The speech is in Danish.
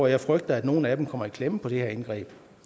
jeg frygter at nogle af dem kommer i klemme med det her indgreb